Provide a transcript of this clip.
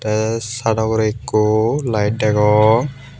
the saado ugure ekku light degong.